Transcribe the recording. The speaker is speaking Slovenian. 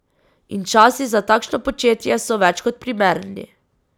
In časi za takšno početje so več kot primerni.